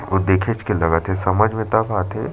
अऊ देखेच के लगा थे समझ मे तब आथे।